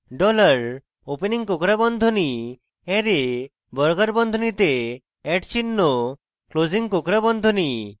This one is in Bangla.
dollar opening কোঁকড়া বন্ধনী array বর্গাকার বন্ধনীতে @চিহ্ন closing কোঁকড়া বন্ধনী